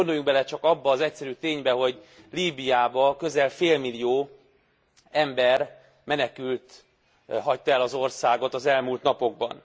Gondoljunk bele csak abba az egyszerű ténybe, hogy Líbiában közel félmillió ember, menekült hagyta el az országot az elmúlt napokban.